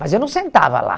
Mas eu não sentava lá.